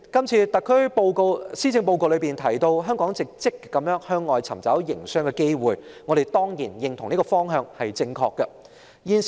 主席，這份施政報告提到，香港正積極向外尋找營商機會，我們當然認同這是正確的方向。